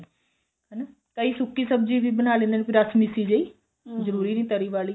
ਹਨਾ ਕਈ ਸੁੱਕੀ ਸਬਜੀ ਵੀ ਬਣਾ ਲਿੰਦੇ ਨੇ ਰਸਮਿਸੀ ਜਿਹੀ ਜਰੂਰੀ ਨਹੀਂ ਤਰੀ ਵਾਲੀ